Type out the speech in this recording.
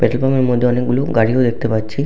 Petrol pump -এর মধ্যে অনেকগুলো গাড়িও দেখতে পাচ্ছি।